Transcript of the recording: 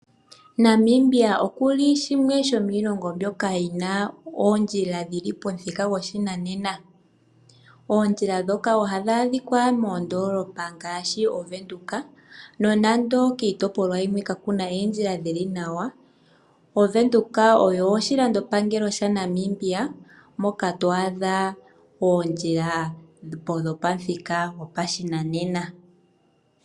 Namibia oku li shimwe shomiilongo mbyoka yi na oondjila dhili pomuthika goshinanena. Oondjila dhoka oha dhi adhika moondoolopa ngaashi oWindhoek. Nonande kiitopolwa yimwe ka ku na oondjila dhili nawa, oWindhoek oyo oshilandopango shaNamibia moka to adha oondjila dhopamuthika goshinanena.